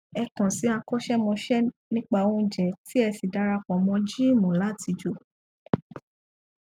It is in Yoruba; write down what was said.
ẹ kàn sí akọṣẹmọṣẹ nípa óúnjẹ tí ẹ sì dara pọ mọ gíìmù láti jò